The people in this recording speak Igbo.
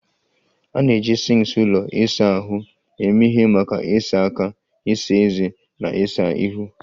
A na-eji sinks ụlọ ịsa ahụ eme ihe maka ịsa aka, ịsa ezé, na ịsa ihu